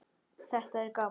Þetta er gaman.